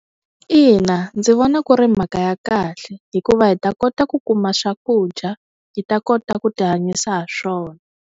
Ina, ndzi vona ku ri mhaka ya kahle hikuva hi ta kota ku kuma swakudya hi ta kota ku ti hanyisa ha swona.